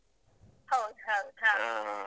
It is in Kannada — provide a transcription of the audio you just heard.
ಹೌದ್ ಹೌದ್ .